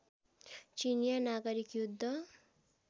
चिनियाँ नागरिक युद्ध